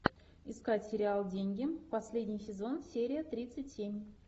искать сериал деньги последний сезон серия тридцать семь